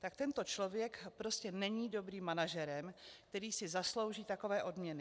Tak tento člověk prostě není dobrým manažerem, který si zaslouží takové odměny.